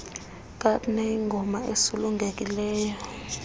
kaap neyingoma esulungekileyo